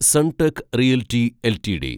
Sunteck Realty LTD